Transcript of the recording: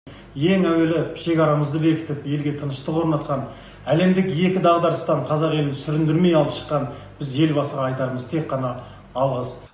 ең әуелі шекарамызды бекітіп елге тыныштық орнатқан әлемдік екі дағдарыстан қазақ елін сүріндірмей алып шыққан біз елбасыға айтарымыз тек қана алғыс